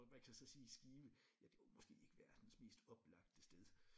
Og man kan så sige Skive ja det var måske ikke verdens mest oplagte sted